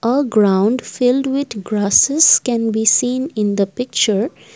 a ground filled with grocess can be seen in the picture.